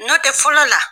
Nɔ tɛ fɔlɔ la